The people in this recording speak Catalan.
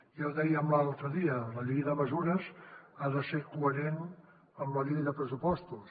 ja ho dèiem l’altre dia la llei de mesures ha de ser coherent amb la llei de pressupostos